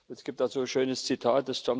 Es gibt dazu ein schönes Zitat.